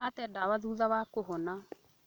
Ate ndawa thutha wa kũhona